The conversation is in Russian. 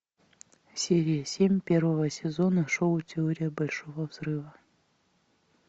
серия семь первого сезона шоу теория большого взрыва